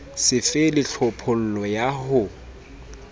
so fele tlhophollo ya ho